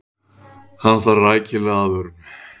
Hann þarf rækilega aðvörun.